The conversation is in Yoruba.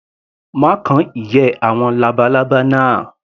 Má kan ìyẹ́ labalábá náà.